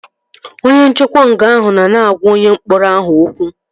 Onye nchekwa nga ahụ nọ na-agwa onye mkpọrọ ahụ okwu